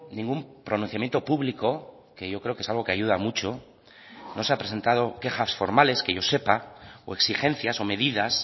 ningún pronunciamiento público que yo creo que es algo que ayuda mucho no se ha presentado quejas formales que yo sepa o exigencias o medidas